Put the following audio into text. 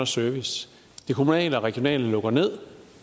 service det kommunale og regionale lukker ned